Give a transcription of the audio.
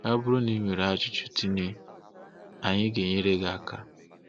Ọ bụrụ na i nwere ajụjụ Tene, anyị ga-enyere gị aka.